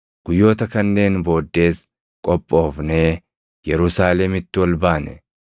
Guyyoota kanneen booddees qophoofnee Yerusaalemitti ol baane.